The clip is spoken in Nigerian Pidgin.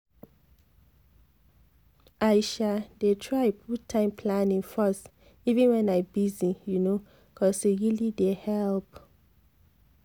i sa dey try put time planning first even when i busy u no cos e really dey help.